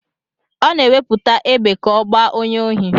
Ọ na-ewepụta égbè ka ọ gbaa onye ohi.